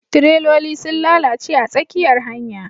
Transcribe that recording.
tireloli sun lalace a tsakiyar hanya